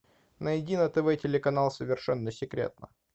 найди на тв телеканал совершенно секретно